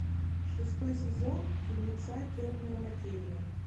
шестой сезон фильмеца темная материя